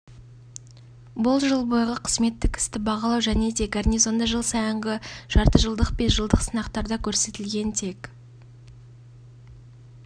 ең жақсы нәтижелер сондай-ақ қызметкерлердің аттестациясының нәтижелері жарыс бірнеше кезеңмен өтті дене дайындығы өрт-саптық дайындық